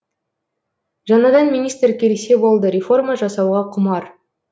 жаңадан министр келсе болды реформа жасауға құмар